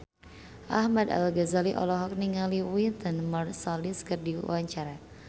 Ahmad Al-Ghazali olohok ningali Wynton Marsalis keur diwawancara